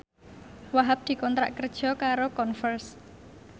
Wahhab dikontrak kerja karo Converse